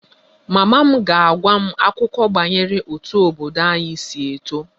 /Mama m ga-agwa m akụkọ banyere otú obodo anyị si eto